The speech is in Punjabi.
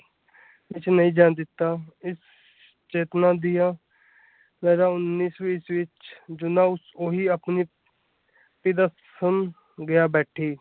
ਵਿੱਚ ਨਹੀਂ ਜਾਣ ਦਿੱਤਾ ਇਸ ਚੇਤੰਨਾ ਦਿਆਂ ਜ਼ਿਆਦਾ ਉੱਨੀ ਈਸਵੀਂ ਵਿੱਚ ਸੁਣ ਗਿਆ ਬੈਠੀ।